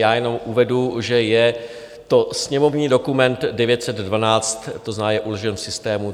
Já jenom uvedu, že je to sněmovní dokument 912, to znamená, je uložen v systému.